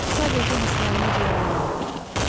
Sadəcə hisslərimi cilalamağı bacarıram.